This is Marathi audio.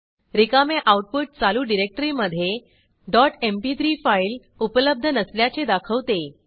रिकामे आऊटपुट चालू डिरेक्टरीमधे डॉट एमपी3 फाईल उपलब्ध नसल्याचे दाखवते